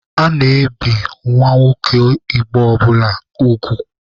A na-ebi nwa nwoke Igbo ọbụla ugwu.